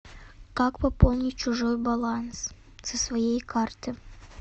как пополнить чужой баланс со своей карты